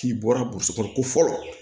K'i bɔra burusi kɔnɔ ko fɔlɔ